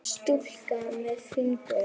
Stúlka með fingur.